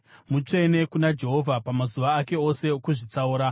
Mutsvene kuna Jehovha pamazuva ake ose aakazvitsaura.